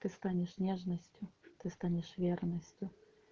ты станешь нежностью ты станешь верностью